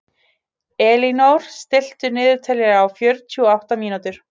Elínór, stilltu niðurteljara á fjörutíu og átta mínútur.